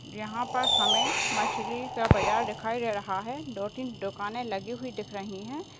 यहाँ पर हमें मछली का बाजार दिखाई दे रहा है दो तीन दुकाने लगी हुई दिख रही है।